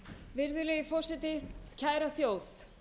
virðulegi forseti kæra þjóð